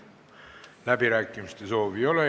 Läbirääkimiste soovi ei ole.